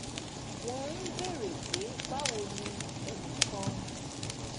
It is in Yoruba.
wọ́n ń béèrè pé báwo ni ẹnì kan